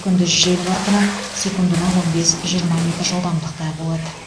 күндіз жел қарқыны секундына он бес жиырма метр жылдамдықта болады